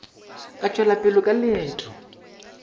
a tšwela pele ka leeto